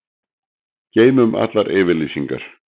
Geymum allar yfirlýsingar.